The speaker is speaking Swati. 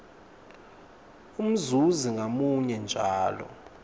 umzuzi ngamunye njalo